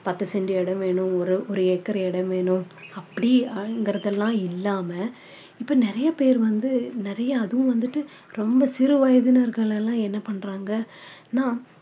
பத்து cent இடம் வேணும் ஒ~ ஒரு acre இடம் வேணும் அப்படிங்கிறதுலாம் இல்லாம இப்போ நிறைய பேரு வந்து நிறைய அதுவும் வந்துட்டு ரொம்ப சிறு வயதினர்கள் எல்லாம் என்ன பண்றாங்கன்னா